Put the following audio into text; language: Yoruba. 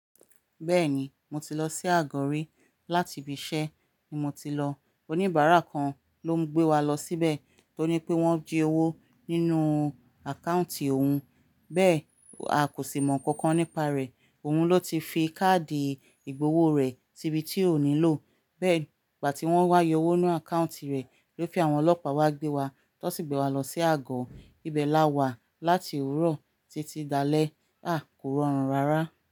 Bẹ́ẹ̀ni, mo ti lọ sí Àgọ́ ri láti ibi iṣẹ́ ni mo ti lọ. Oníbàárà kan ló ń gbé wa lọ síbẹ̀ tó ní pé wọ́n jí owó nínú account òun. Bẹ́ẹ̀ a kò sì mọ nǹkan kan nípa rẹ̀. Òun ló ti fi káàdì ìgbowó rẹ̀ síbi tí ó nílò. Bẹ́ẹ̀ ìgbà tí wọ́n wá yọ owó nínú account rẹ̀ ló fi àwọn ọlọ́pàá wa gbé wa. Tọ sí gbé wa lọ sí Àgọ́. Ibẹ̀ la wà láti òwúrọ̀ títí dá alẹ́. A kò rọrùn rárá.